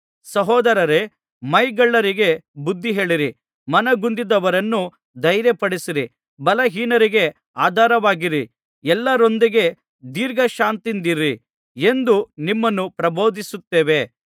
ಸಹೋದರರೇ ಮೈಗಳ್ಳರಿಗೆ ಬುದ್ಧಿಹೇಳಿರಿ ಮನಗುಂದಿದವರನ್ನು ಧೈರ್ಯಪಡಿಸಿರಿ ಬಲಹೀನರಿಗೆ ಆಧಾರವಾಗಿರಿ ಎಲ್ಲರೊಂದಿಗೆ ದೀರ್ಘಶಾಂತಿಯಿಂದಿರಿ ಎಂದು ನಿಮ್ಮನ್ನು ಪ್ರಬೋಧಿಸುತ್ತೇವೆ